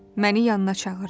Məni yanına çağırdı.